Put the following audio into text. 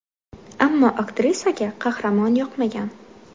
Ammo aktrisaga qahramon yoqmagan.